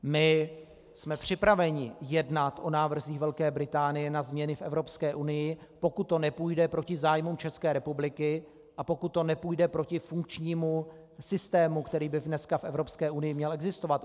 My jsme připraveni jednat o návrzích Velké Británie na změny v Evropské unii, pokud to nepůjde proti zájmům České republiky a pokud to nepůjde proti funkčnímu systému, který by dneska v Evropské unii měl existovat.